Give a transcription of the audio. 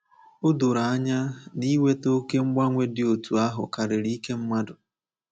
O doro anya na iweta oké mgbanwe dị otú ahụ karịrị ike mmadụ.